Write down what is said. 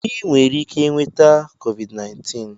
Ị nwere ike nweta Covid19